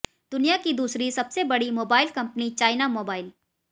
दुनिया की दूसरी सबसे बड़ी मोबाइल कंपनी चाइना मोबाइल